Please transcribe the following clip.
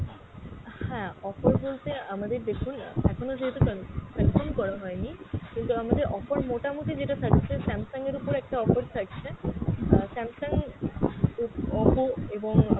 হ্যাঁ offer বলতে আমাদের দেখুন আহ এখনও যেহেতু কান~ confirm করা হয়নি, কিন্তু আমাদের অফার মোটামুটি যেটা থাকছে Samsung এর ওপরে একটা offer থাকছে আহ Samsung, ও Oppo এবং